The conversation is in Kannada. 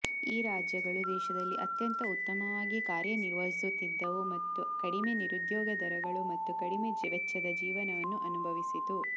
ಈ ರಾಜ್ಯಗಳು ದೇಶದಲ್ಲಿ ಅತ್ಯಂತ ಉತ್ತಮವಾಗಿ ಕಾರ್ಯನಿರ್ವಹಿಸುತ್ತಿದ್ದವು ಮತ್ತು ಕಡಿಮೆ ನಿರುದ್ಯೋಗ ದರಗಳು ಮತ್ತು ಕಡಿಮೆ ವೆಚ್ಚದ ಜೀವನವನ್ನು ಅನುಭವಿಸಿತು